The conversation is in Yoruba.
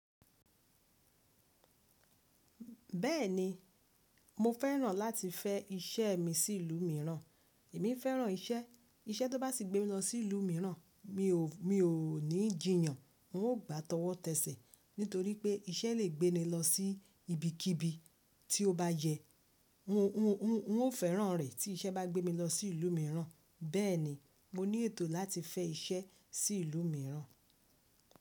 Bẹ́ẹ̀ni, mo fẹ́ràn láti fẹ́ iṣẹ́ mi sí ìlú mìíràn. Èmi fẹ́ràn iṣẹ́, iṣẹ́ tó bá sì gbé mi lọ sí ìlú mìíràn mi ò ní jìyàn. N ó gbàtọwọ́ tẹ́ṣẹ̀ nítorí pé iṣẹ́ le gbé ni lọ sí ibikíbi tí ó bá yẹ. N ó fẹ́ràn rẹ̀ tí iṣẹ́ bá gbé mi lọ sí ìlú mìíràn. Bẹ́ẹ̀ni, mo ní ètò láti fẹ́ iṣẹ́ sí ìlú mìíràn.